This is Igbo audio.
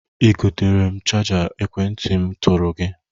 I gotere m chaja ekwentị m tụrụ gị?